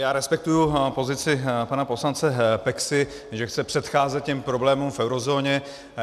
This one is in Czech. Já respektuji pozici pana poslance Peksy, že chce předcházet těm problémům v eurozóně.